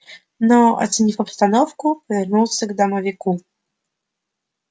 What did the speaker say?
но оценив обстановку повернулся к домовику